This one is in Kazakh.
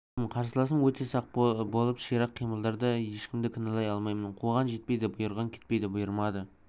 жүрдім қарсыласым өте сақ болып ширақ қимылдады ешкімді кінәлай алмаймын қуған жетпейді бұйырған кетпейді бұйырмады